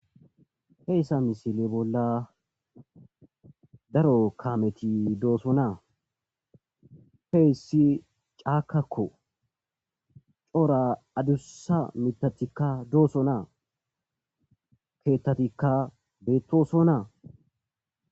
heyssa misile bolla daro kameti dooso naa peyssi caakakko cora adussa mitatikka dooso naa keettatikka beettoso naa